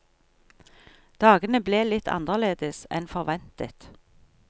Dagene ble litt annerledes enn forventet.